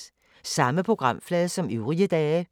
Samme programflade som øvrige dage